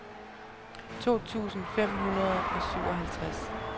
to tusind fem hundrede og syvoghalvtreds